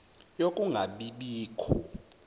yokunga bi bikho